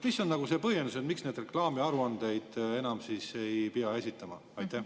Mis on see põhjendus, miks neid reklaamiaruandeid enam ei pea esitama?